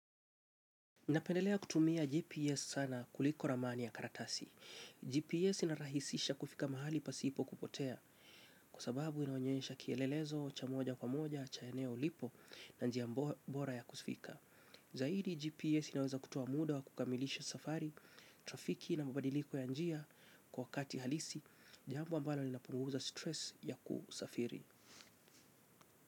Napendelea kutumia GPS sana kuliko ramani ya karatasi. GPS inarahisisha kufika mahali pasipo kupotea. Kwa sababu inaonyesha kielelezo cha moja kwa moja, cha eneo lipo na njia bora ya kufika. Zaidi, GPS inaweza kutoa muda wa kukamilisha safari, trafiki na mabadiliko ya njia kwa wakati halisi. Jambo ambalo linapunguza stress ya kusafiri.